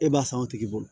E b'a san o tigi bolo